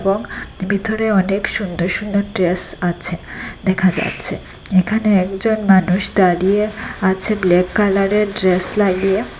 এবং ভিতরে অনেক সুন্দর সুন্দর ড্রেস আছে দেখা যাচ্ছে এখানে একজন মানুষ দাঁড়িয়ে আছে ব্ল্যাক কালারের ড্রেস লাগিয়ে।